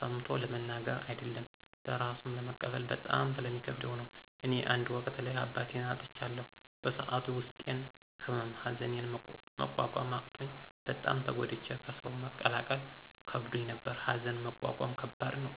ሰምቾ ለመናገር አደለም ለራሱም ለመቀበል በጣም ስለሚከብደው ነው። እኔ አንድ ወቅት ላይ አባቴን አጥቻለሁ በሰዐቱ የውስጤን ህመም ሀዘኒን መቆቆም አቅቾኝ በጣም ተጎድቼ ከሰው መቀላቀል ከብዶኝ ነበር። ሀዘንን መቆቆም ከባድ ነው።